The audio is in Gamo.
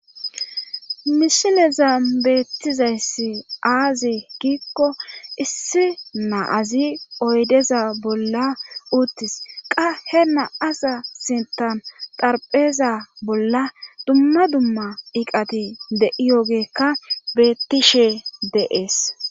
mishileza beettizayssi aazi giikko issi na azi oydeza bolla uttis qa he na7aza sintan darpheza bolla dumma dumma iqati de7i yoogeekka beettishe de7ees